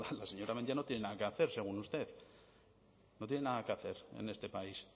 la señora mendia no tiene nada que hacer según usted no tiene nada que hacer en este país